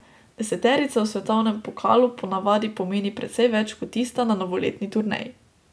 Deseterica v svetovnem pokalu po navadi pomeni precej več kot tista na novoletni turneji.